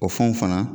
O fɛnw fana